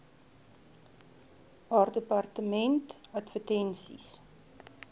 haar departement advertensies